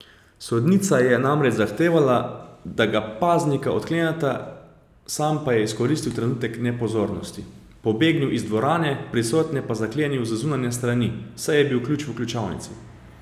Sodnica je namreč zahtevala, da ga paznika odkleneta, sam pa je izkoristil trenutek nepozornosti, pobegnil iz dvorane, prisotne pa zaklenil z zunanje strani, saj je bil ključ v ključavnici.